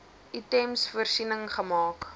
items voorsiening gemaak